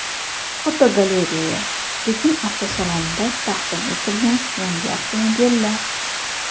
Fotogalereya: Pekin avtosalonida taqdim etilgan yangi avtomobillar.